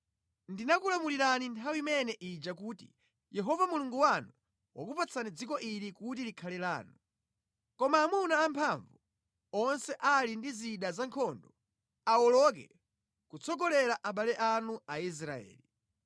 Ndinakulamulirani nthawi imene ija kuti, “Yehova Mulungu wanu wakupatsani dziko ili kuti likhale lanu. Koma amuna amphamvu onse ali ndi zida zankhondo, awoloke kutsogolera abale anu Aisraeli.